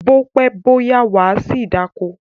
Bó pẹ́, bó yá, wà á ṣì dáko.